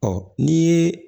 Ɔ n'i ye